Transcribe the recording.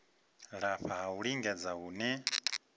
lafha ha u lingedza hune